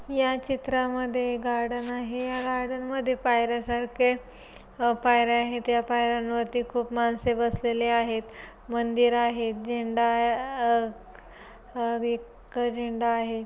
या चित्रा मध्ये गार्डन आहे या गार्डन मध्ये पायर्‍या सारखे पायर्‍या आहेत या पायर्‍यांवरती खूप माणसे बसलेले आहेत मंदिर आहे झेंडा अह एक झेंडा आहे.